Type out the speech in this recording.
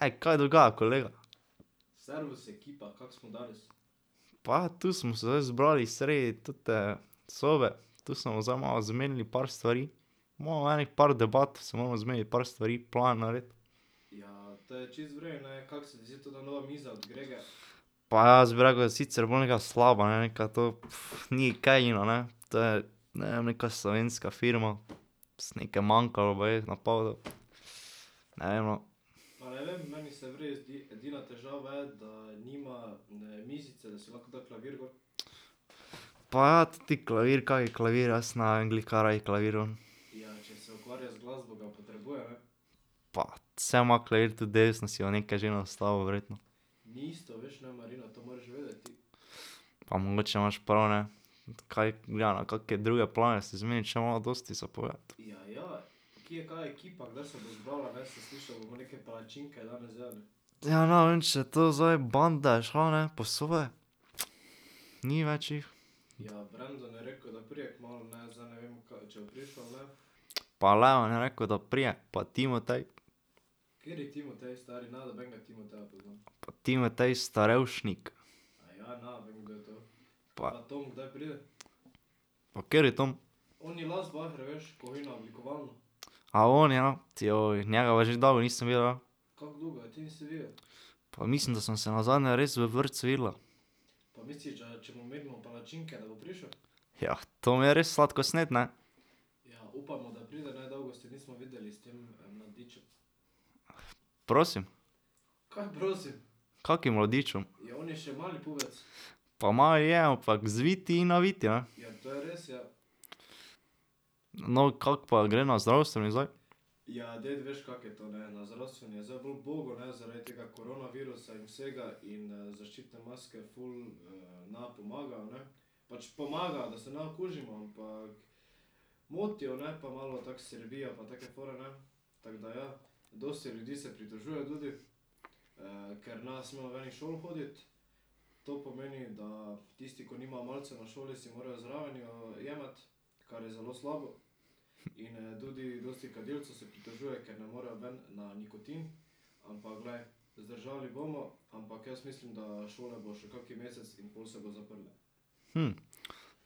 Ej, kaj dogaja, kolega? Pa, tu smo se zdaj zbrali sredi tote sobe, tu se bomo zdaj malo zmenili par stvari. Imamo enih par debat, se moramo zmeniti par stvari, plan narediti. Pa jaz bi rekel, da je sicer bolj neka slaba, ne, neka to, ni kaj ono ne ... To je, ne vem, neka slovenska firma. nekaj manjkalo baje na pol ... Ne vem, no ... Pa ja, teti klavir, kaj, klavir, jaz ne vem, glih kaj rabi klavir on. Pa, saj ima klavir tudi desno, si bo nekaj že nastavil verjetno. Pa mogoče imaš prav, ne. Kaj, ja, na kake druge plane se zmeni, še imava dosti za povedati. Ja, ne vem, če to zdaj, banda je šla, ne, po svoje. Ni več jih. Pa Leon je rekel, da pride, pa Timotej. [ime in priimek] Pa kateri Tom? A oni, ja, njega pa že dolgo nisem videl, ja. Pa mislim, da sva se nazadnje res v vrtcu videla. Jah, Tom je res sladkosned, ne. Prosim? Kakim mladičem? Pa mali je, ampak zvit in navit, No, kako pa gre na zdravstveni zdaj?